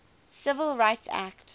civil rights act